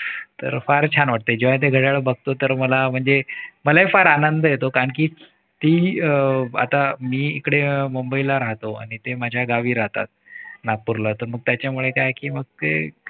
तर फार छान वाटते जेव्हा ते घड्याळ बघतो तर मला म्हणजे मलाही फार आनंद येतो कारण कि ती अह आता मी इकडे मुंबईला राहतो आणि ते माझ्या गावी राहतात. नागपूरला तर मग त्याच्यामुळे काय आहे कि मग ते